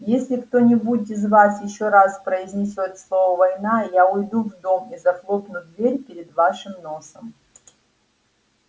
если кто-нибудь из вас ещё раз произнесёт слово война я уйду в дом и захлопну дверь перед вашим носом